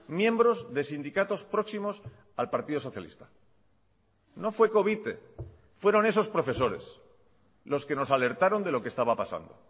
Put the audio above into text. miembros de sindicatos próximos al partido socialista no fue covite fueron esos profesores los que nos alertaron de lo que estaba pasando